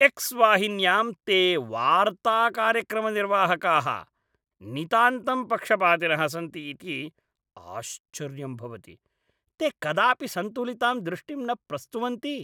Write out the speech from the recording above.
X वाहिन्यां ते वार्ताकार्यक्रमनिर्वाहकाः नितान्तं पक्षपातिनः सन्ति इति आश्चर्यं भवति, ते कदापि सन्तुलितां दृष्टिं न प्रस्तुवन्ति।